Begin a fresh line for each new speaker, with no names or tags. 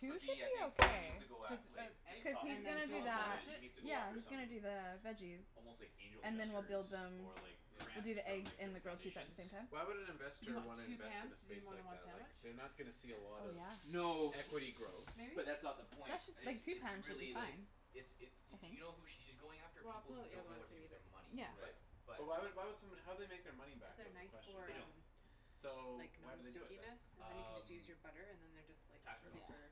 Two
But
should
B I
be
think she needs
okay
to go at
Just
like
with
just
just
eggs
cuz he's
and
talking to
then
gonna do
Tom
dual
about
that
sandwich
it
it?
she needs to go
yeah
after
he's
some
gonna do the veggies.
Almost like angel
And then we'll
investors
build them
or like
we'll
Yeah.
do
grants
the
from
eggs
like
and the
different
grilled cheese at the
foundations
same time.
Why would an
Do you
investor
want
wanna
two
invest in
pans
a
to do
space
more than
like
one
that
sandwich?
like they're not gonna see a
Oh
lot of
yeah.
No.
equity growth.
Maybe?
But that's not the point, it's
Like two
it's
pans should
really
be
like
fine.
It's it
I
y-
think.
you know who she's going after
Well I'll
people
put
who
out the other
don't know
one if
what to
you
do
need
with their
it.
money
Yeah.
but
Right.
But.
But why why would somebody how would they make their money
Cuz
back though
they're
is the
nice
question,
for
They
right?
don't.
um
So
like
why do they do it
non-stickiness
then?
and then you can just use
Um
your butter and then they're just like
Tax write offs
Yeah.
super